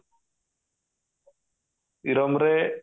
ଇରମ ରେ